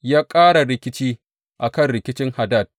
Ya ƙara rikici a kan rikicin Hadad.